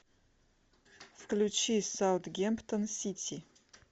включи саутгемптон сити